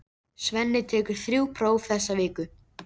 Svenni tekur þrjú próf þessa viku.